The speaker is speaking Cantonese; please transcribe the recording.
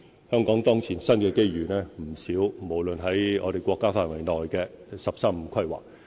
香港當前新機遇不少，包括在我們國家範圍內的"十三五"規劃。